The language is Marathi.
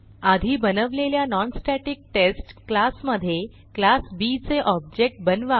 आधी बनवलेल्या नॉनस्टॅटिक्टेस्ट क्लासमधे क्लास बी चे ऑब्जेक्ट बनवा